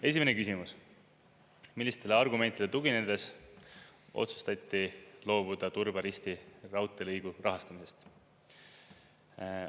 Esimene küsimus: millistele argumentidele tuginedes otsustati loobuda Turba-Risti raudteelõigu rahastamisest?